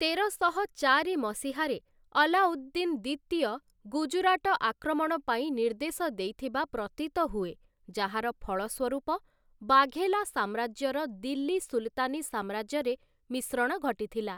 ତେରଶହ ଚାରି ମସିହାରେ, ଆଲ୍ଲାଉଦ୍ଦିନ୍‌ ଦ୍ୱିତୀୟ ଗୁଜରାଟ ଆକ୍ରମଣ ପାଇଁ ନିର୍ଦ୍ଦେଶ ଦେଇଥିବା ପ୍ରତୀତ ହୁଏ, ଯାହାର ଫଳସ୍ୱରୂପ ବାଘେଲା ସାମ୍ରାଜ୍ୟର ଦିଲ୍ଲୀ ସୁଲ୍‌ତାନି ସାମ୍ରାଜ୍ୟରେ ମିଶ୍ରଣ ଘଟିଥିଲା ।